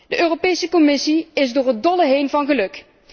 De Europese Commissie is door het dolle heen van geluk.